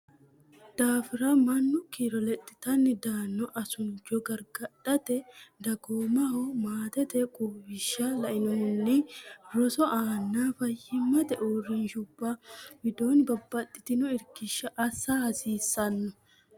daafira mannu kiiro lexxanni daanno asuncho gargadhate dagoomaho maatete quwishsha lainohunni roso aanna fayyimmate urrinshshubba widoonni babbaxxino irkishsha assa hasiissanno.